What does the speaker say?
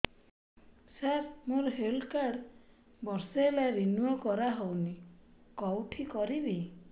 ସାର ମୋର health card ବର୍ଷେ ହେଲା ରିନିଓ କରା ହଉନି କଉଠି କରିବି